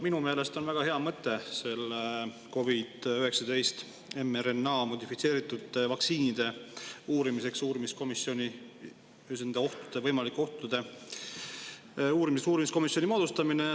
Minu meelest on väga hea mõte uurimiskomisjon moodustada, et uurida COVID-19 modifitseeritud mRNA vaktsiinide võimalikke ohtusid.